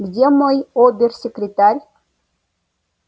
где мой обер-секретарь